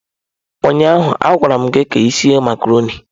Ụnyaahụ a gwaram gị ka ị sie macarọnị.